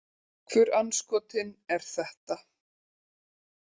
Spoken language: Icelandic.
Hvur andskotinn er þetta?